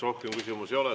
Rohkem küsimusi ei ole.